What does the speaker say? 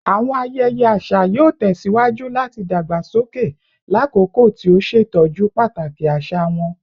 Awọn ayẹyẹ aṣa yoo tẹsiwaju lati dagbasoke lakoko ti o ṣetọju pataki aṣa wọn